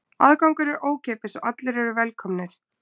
Aðgangur er ókeypis og allir eru velkomnir.